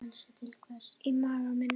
Í maga mín